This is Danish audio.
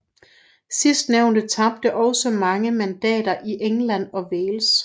Sidstnævnte tabte også mange mandater i England og Wales